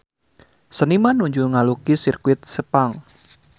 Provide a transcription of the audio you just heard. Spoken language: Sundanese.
Seniman nuju ngalukis Sirkuit Sepang